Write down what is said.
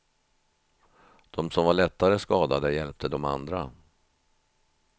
De som var lättare skadade hjäpte de andra.